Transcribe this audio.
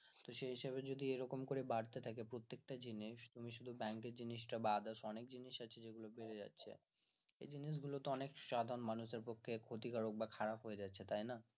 তো সে হিসাবে যদি এরকম করে বাড়তে থাকে প্রত্যেকটা জিনিস তুমি শুধু bank এর জিনিস টা বাদ অনেক জিনিস আছে যেগুলো বেড়ে যাচ্ছে এই জিনিস গুলো তো অনেক সাধারণ মানুষেদের পক্ষে ক্ষতিকারক বা খারাপ হয়ে যাচ্ছে তাই না?